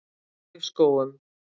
Laufskógum